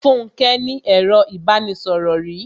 Fúnke ní ẹro ìbánisọ̀rò rí.